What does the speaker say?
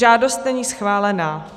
Žádost není schválená.